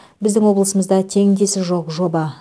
біздің облысымызда теңдесі жоқ жоба